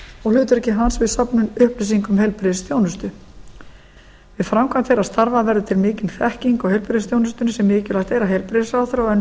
og hlutverki hans við söfnun upplýsinga um heilbrigðisþjónustu við framkvæmd þeirra starfa verður til mikil þekking á heilbrigðisþjónustunni á mikilvægt er að heilbrigðisráðherra og önnur